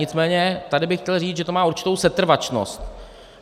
Nicméně tady bych chtěl říct, že to má určitou setrvačnost.